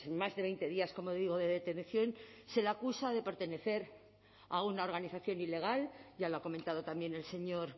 más de veinte días como digo de detención se le acusa de pertenecer a una organización ilegal ya lo ha comentado también el señor